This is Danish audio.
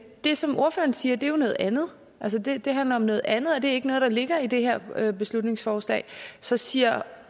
det som ordføreren siger er jo noget andet altså det det handler om noget andet og det er ikke noget der ligger i det her her beslutningsforslag så siger